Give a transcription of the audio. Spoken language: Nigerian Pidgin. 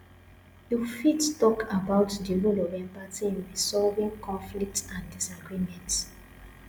you fit talk about di role of empathy in resolving conflicts and disagreements